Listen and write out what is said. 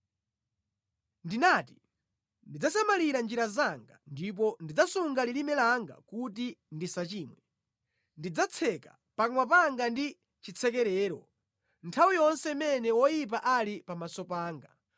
Ndinati, “Ndidzasamalira njira zanga ndipo ndidzasunga lilime langa kuti ndisachimwe; ndidzatseka pakamwa panga ndi chitsekerero nthawi yonse imene woyipa ali pamaso panga.”